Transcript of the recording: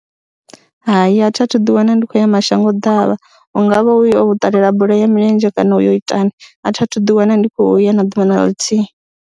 Hai, a thi a thu ḓiwana ndi khou ya mashango ḓavha, hu nga vha hu uyo u ṱalela bola ya milenzhe kana u yo itani a thi a thu ḓiwana ndi khou ya na ḓuvha na ḽithihi.